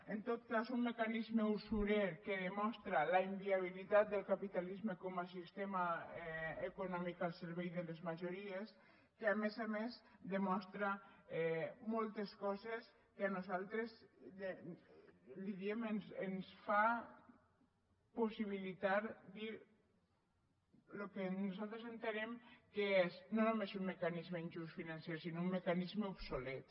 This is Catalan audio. en tot cas un mecanisme usurer que demostra la inviabilitat del capitalisme com a sistema econòmic al servei de les majories que a més a més demostra moltes coses que a nosaltres li diem ens fa possibilitar dir el que nosaltres entenem que és no només un mecanisme injust financer sinó un mecanisme obsolet